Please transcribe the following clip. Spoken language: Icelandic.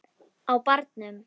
Á barnum!